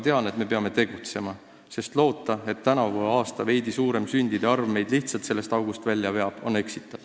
Tean aga, et me peame tegutsema, sest on eksitav loota, et tänavune veidi suurem sündide arv meid sellest august lihtsalt välja veab.